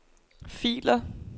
filer